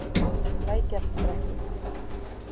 Lækjarbrekku